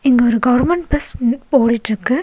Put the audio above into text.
இங்க ஒரு government bus முன்னுக்கு போடிட்ருக்கு.